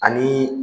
Ani